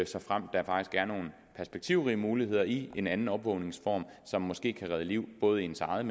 såfremt der faktisk er nogle perspektivrige muligheder i en anden opvågningsform som måske kan redde liv både ens eget